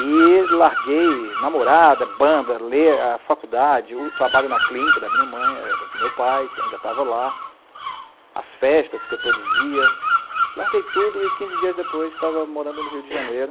E larguei, namorada, banda, ler, a faculdade, o trabalho na clínica da minha mãe, com o meu pai, ainda estava lá, as festas que eu produzia, larguei tudo e quinze dias depois estava morando no Rio de Janeiro.